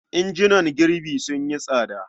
Injunan girbi sun yi tsada.